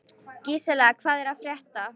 Gísela, hvað er að frétta?